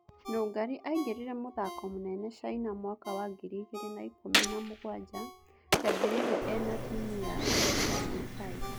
Nũngari aingĩrire Mũthako mũnene Chaina mwaka wa ngiri igĩrĩ na ikũmi-na- mũgwanja, kĩambĩrĩria ena timu ya Gicagi Tai.